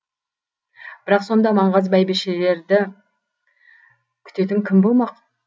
бірақ сонда маңғаз бәйбішелерді күтетін кім болмақ